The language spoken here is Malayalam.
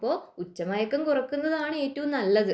അപ്പോൾ ഉച്ചമയക്കം കുറയ്ക്കുന്നതാണ് ഏറ്റവും നല്ലത്